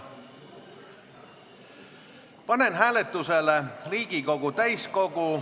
Panen hääletusele Riigikogu täiskogu ...